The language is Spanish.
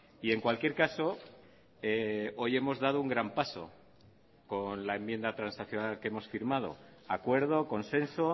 y en cualquier caso hoy hemos dado un gran paso con la enmienda transaccional que hemos firmado acuerdo consenso